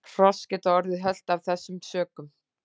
Hross geta orðið hölt af þessum sökum.